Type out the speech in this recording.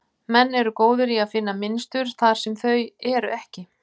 Menn eru góðir í að finna mynstur þar sem þau eru ekki.